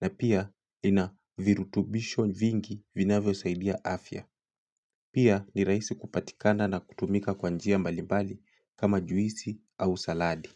na pia lina virutubisho vingi vinavyo saidia afya. Pia ni rahisi kupatikana na kutumika kwanjia mbalimbali kama juisi au saladi.